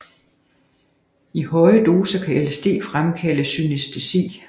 I høje doser kan LSD fremkalde synæstesi